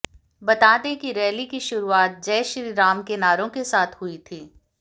बता दें कि रैली की शुरुआत जय श्री राम के नारों के साथ हुई थी